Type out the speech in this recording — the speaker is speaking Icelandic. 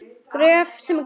Mæli með Gröf sem gleður.